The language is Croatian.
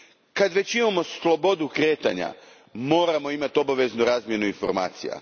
Kad već imamo slobodu kretanja, moramo imati obaveznu razmjenu informacija.